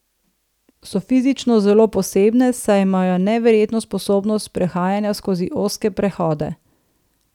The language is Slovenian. So fizično zelo posebne, saj imajo neverjetno sposobnost prehajanja skozi ozke prehode.